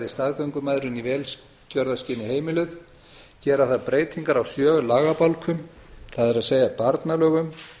staðgöngumæðrun í velgjörðarskyni heimiluð gera þarf breytingar á sjö lagabálkum það er barnalögum